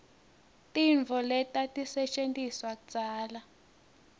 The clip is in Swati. tintfo letatisetjentiswa kudzala